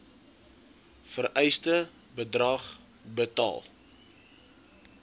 vereiste bedrag betaal